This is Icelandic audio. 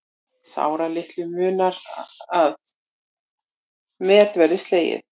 Sáralitlu munar að met verði slegið